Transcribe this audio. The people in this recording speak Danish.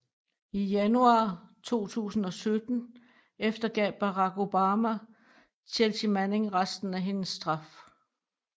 I januar 2017 eftergav Barack Obama Chealsea Manning resten af hendes straf